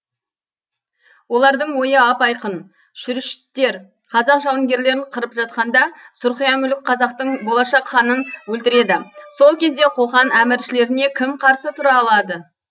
олардың ойы ап айқын шүршіттер қазақ жауынгерлерін қырып жатқанда сұрқия мүлік қазақтың болашақ ханын өлтіреді сол кезде қоқан әміршілеріне кім қарсы тұра алады